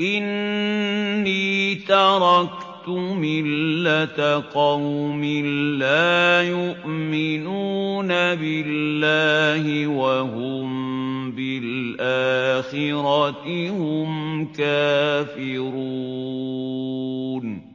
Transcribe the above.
إِنِّي تَرَكْتُ مِلَّةَ قَوْمٍ لَّا يُؤْمِنُونَ بِاللَّهِ وَهُم بِالْآخِرَةِ هُمْ كَافِرُونَ